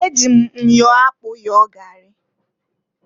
E ji m myo akpụ yọọ gari.